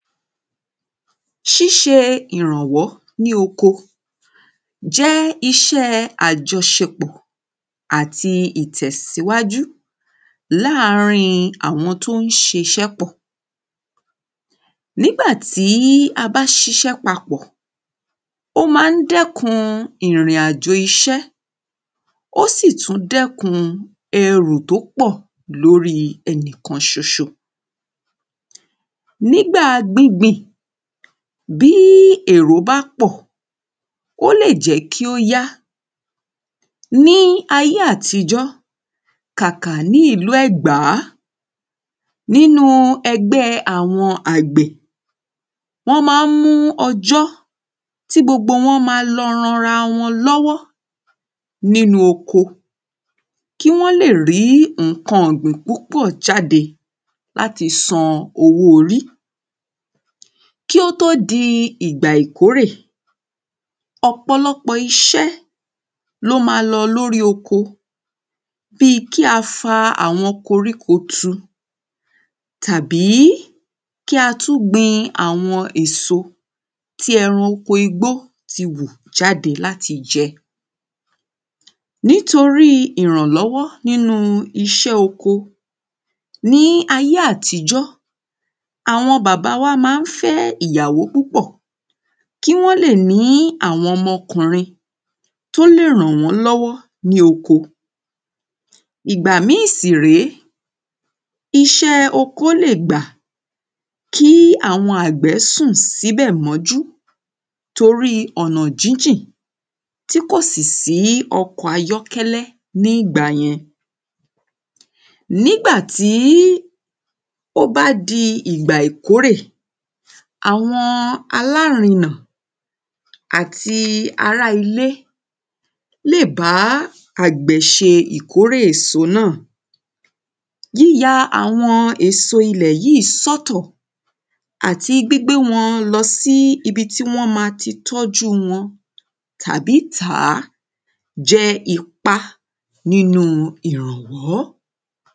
sise iranwo ni oko je ise ajosepo ati itesiwaju la rin awon to n sise po Nígbà tí a bá ṣiṣẹ́ papọ̀ o máa ń dẹ́kun ìrìnajò iṣẹ́ Ó sì tú dẹ́kun ẹrù tí ó pọ̀ lórí ẹnìkan ṣoṣo Nígbà gbíbin bí ẹ̀rọ bá pọ ó lè jẹ́ kí ó yá Ní ayé àtijọ́ kàkà ní ìlú ẹ̀gbá nínú ẹgbẹ́ àwọn àgbẹ̀ wọ́n máa ń mú ọjọ́ tí gbogbo wọn ma lọ ran ara wọn lọ́wọ́ nínú oko Kí wọ́n lè rí nǹkan ọ̀gbìn púpọ̀ jáde láti san owó orí Kí ó tó di ìgbà ìkórè ọ̀pọ̀lọpọ̀ iṣẹ́ ni ó ma lórí oko bíi kí á fa àwọn koríko tu Tàbí kí á tú gbin àwọn èso tí ẹranko igbó ti hù jáde láti jẹ́ Nítorí ìrànlọ́wọ́ nínú iṣẹ́ oko ní ayé àtijọ́ àwọn bàbá wa máa ń fẹ́ ìyàwó púpọ̀ Kí wọ́n lè ní àwọn ọmọ ọkùrin tí ó lè rànwánlọ́wọ́ ní oko Ìgbà míì sì rèé iṣẹ́ oko lè gbà kí àwọn àgbẹ̀ sùn síbẹ̀ mọ́jú Torí ọ̀nà jíjìn tí kò sì sí ọkọ̀ ayọ́kẹ́lẹ́ ní ìgbà yẹn Nígbà tí ó bá di ìgbà ìkórè àwọn alárinà àti ará ilé lè bá àgbẹ̀ ṣe ìkórè èso náà Yíya àwọn èso ilé yìí sọ́tọ̀ àti gbígbe wọn lọ sí ibi tí wọ́n ma ti tọ́jú wọn tàbí tà á jẹ́ ipá nínú ìrànwọ́